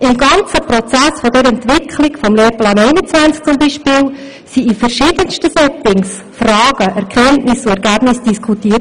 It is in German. Im gesamten Prozess der Entwicklung des Lehrplans 21 wurden beispielsweise in verschiedensten Settings Fragen, Erkenntnisse und Ergebnisse diskutiert.